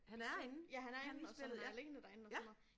Se ja han er inde og som er alene derinde og sådan noget